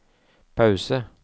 pause